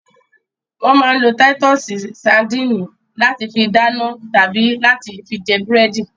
Wọ́n máa ń lo títọ́sì sadínì láti fi dáná tàbí láti fi jẹ búrẹ́dì.